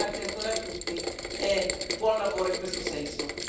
Grazie ancora a tutti e buon lavoro in questo senso.